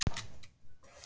Erfiðar aksturs